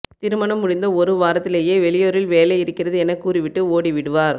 திருமணம் முடிந்த ஒரு வாரத்திலேயே வெளியூரில் வேலை இருக்கிறது என கூறிவிட்டு ஓடிவிடுவார்